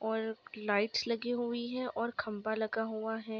और लाइट्स लगी हुई है और खंभा लगा हुआ है।